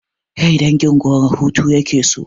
Rai dangin goro hutu yake so